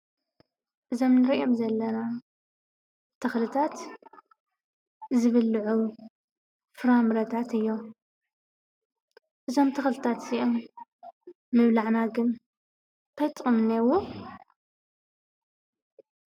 እዞም እንርእዮም ዘለና ተክልታት ዝብልዑ ፍራምረታት እዮም። እዞም ተክልታት እዚኦም ምብላዕና ግን ታይ ጥቅሙ እንሄዎ?